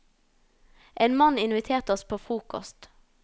En mann inviterte oss på frokost.